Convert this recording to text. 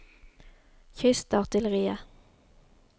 kystartilleriet